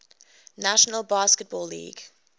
national basketball league